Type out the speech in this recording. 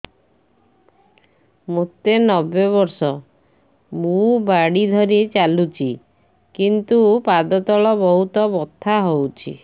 ମୋତେ ନବେ ବର୍ଷ ମୁ ବାଡ଼ି ଧରି ଚାଲୁଚି କିନ୍ତୁ ପାଦ ତଳ ବହୁତ ବଥା ହଉଛି